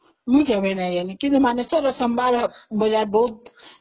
ମୁଁ ଯାଇନାହିଁ, କିନ୍ତୁ ମାନେଶ୍ଵର ର ସୋମବାର ବଜାର ବହୁତ